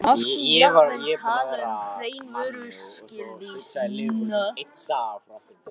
Mátti jafnvel tala um hrein vörusvik.